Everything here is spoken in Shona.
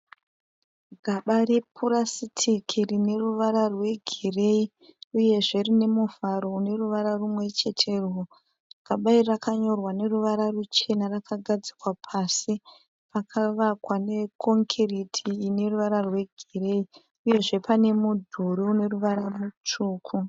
Gaba repurasitiki rine ruvara rwegireyi uyezve rine muvharo une ruvara rumwecheterwo. Gaba iri rakanyorwa neruvara ruchena. Rakagadzikwa pasi pakavavakwa nekongiriti ine ruvara rwegireyi, uyezve pane mudhuri une ruvara rutsvuku.